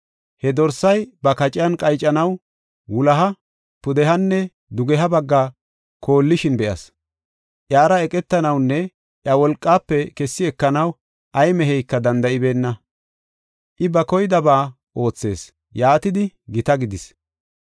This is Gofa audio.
He dorsay ba kaciyan qaycanaw, wuloha, pudehanne dugeha bagga koolishin be7as. Iyara eqetanawunne iya wolqaafe kessi ekanaw ay meheyka danda7ibeenna. I, ba koydaba oothees; yaatidi gita gidis.